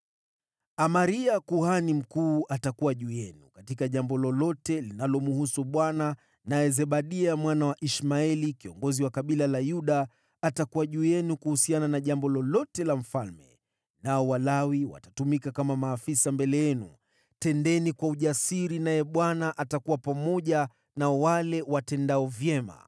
“Amaria kuhani mkuu atakuwa juu yenu katika jambo lolote linalomhusu Bwana naye Zebadia mwana wa Ishmaeli, kiongozi wa kabila la Yuda, atakuwa juu yenu kwa jambo lolote linalomhusu mfalme, nao Walawi watatumika kama maafisa mbele yenu. Tendeni kwa ujasiri, naye Bwana atakuwa pamoja na wale watendao vyema.”